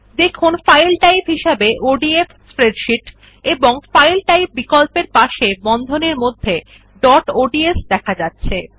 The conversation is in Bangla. দেখুন ফাইল টাইপ হিসাবে ওডিএফ স্প্রেডশীট এবং ফাইল টাইপ বিকল্পর পাশে বন্ধনীর মধ্যে ডট অডস দেখা যাচ্ছে